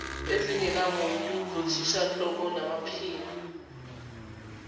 ezingenamuntu zothishanhloko namaphini